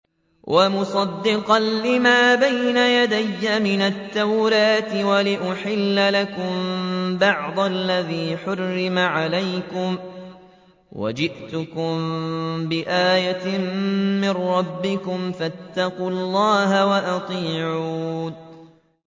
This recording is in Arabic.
وَمُصَدِّقًا لِّمَا بَيْنَ يَدَيَّ مِنَ التَّوْرَاةِ وَلِأُحِلَّ لَكُم بَعْضَ الَّذِي حُرِّمَ عَلَيْكُمْ ۚ وَجِئْتُكُم بِآيَةٍ مِّن رَّبِّكُمْ فَاتَّقُوا اللَّهَ وَأَطِيعُونِ